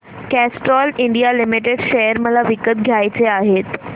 Castrol India limited share मला विकत घ्यायचे आहेत